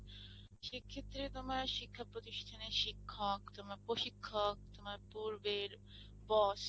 সে ক্ষেত্রে তোমার শিক্ষা প্রতিষ্ঠানের শিক্ষক তোমার প্রশিক্ষক তোমার পূর্বের boss